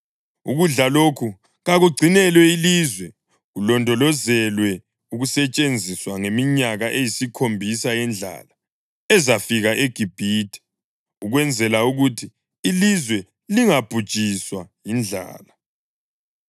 Ukudla lokhu kakugcinelwe ilizwe kulondolozelwe ukusetshenziswa ngeminyaka eyisikhombisa yendlala ezafika eGibhithe, ukwenzela ukuthi ilizwe lingabhujiswa yindlala.”